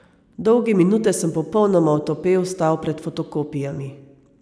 Dolge minute sem popolnoma otopel stal pred fotokopijami.